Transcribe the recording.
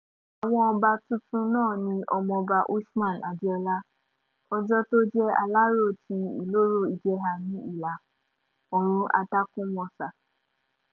àwọn ọba tuntun náà ni ọmọọba usman adeola ọjọ́ tó jẹ́ alọ́rọ̀ ti ìloro-ìjèhà ní ìlà-oòrùn àtàkúnmọ́sá